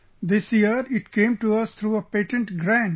This year, it came to us through a patent grant